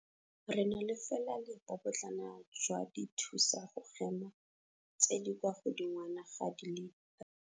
Re na fela le bobotlana jwa dithusa go hema tse di kwa godingwana ga di le 3 000.